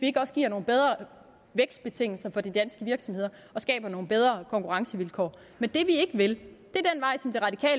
ikke også giver nogle bedre vækstbetingelser for de danske virksomheder og skaber nogle bedre konkurrencevilkår men det vi ikke vil